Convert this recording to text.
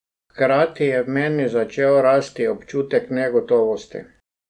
Hkrati je v meni začel rasti občutek negotovosti.